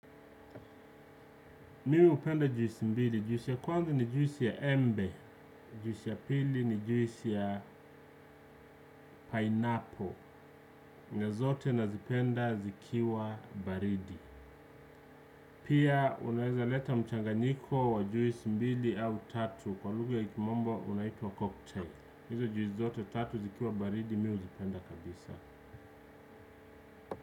Mimi hupenda juisi mbili, juisi ya kwanza ni juisi ya embe, juisi ya pili ni juisi ya pineapple na zote nazipenda zikiwa baridi pia unaweza leta mchanganyiko wa juisi mbili au tatu kwa lugha ya kimombo unaitwa cocktail hizo juisi zote tatu zikiwa baridi mimi huzipenda kabisa.